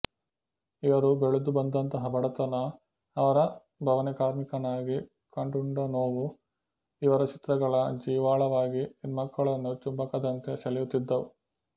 ಇವರು ಬೆಳೆದು ಬಂದಂತಹ ಬಡತನ ಅವರ ಬವಣೆ ಕಾರ್ಮಿಕನಾಗಿ ಕಂಡುಂಡ ನೋವು ಇವರ ಚಿತ್ರಗಳ ಜೀವಾಳವಾಗಿ ಹೆಣ್ಮಕ್ಕಳನ್ನು ಚುಂಬಕದಂತೆ ಸೆಳೆಯುತ್ತಿದ್ದವು